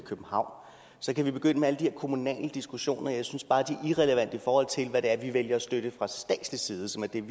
københavn så kan vi begynde med alle de her kommunale diskussioner men jeg synes bare de er irrelevante i forhold til hvad det er vi vælger at støtte fra statslig side som er det vi